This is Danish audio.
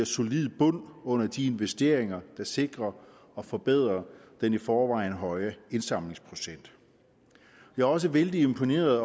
solid bund under de investeringer der sikrer og forbedrer den i forvejen høje indsamlingsprocent vi er også vældig imponeret